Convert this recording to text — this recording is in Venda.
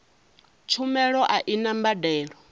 tshumelo a i na mbadelo